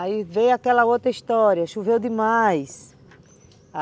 Aí veio aquela outra história, choveu demais.